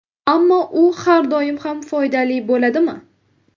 Ammo u har doim ham foydali bo‘ladimi?